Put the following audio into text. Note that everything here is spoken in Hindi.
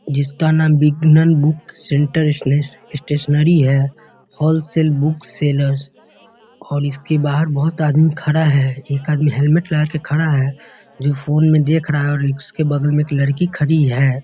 जिसका नाम बिगनन बुक सेंटर सनेस स्टैशनेरी है हॉलशेल बुक सेलर्स और इसके बाहर बहुत आदमी खड़ा है। एक आदमी हेलमेट लगा के खड़ा है जो फोन में देख रहा है और इसके बगल में एक लड़की खड़ी है।